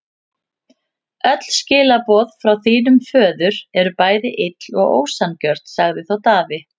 Öll skilaboð frá þínum föður eru bæði ill og ósanngjörn, sagði þá Daði.